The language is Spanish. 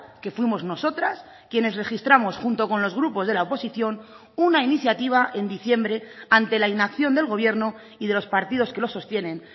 que fuimos nosotras quienes registramos junto con los grupos de la oposición una iniciativa en diciembre ante la inacción del gobierno y de los partidos que lo sostienen